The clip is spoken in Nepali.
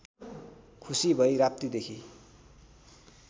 खुसी भई राप्तीदेखि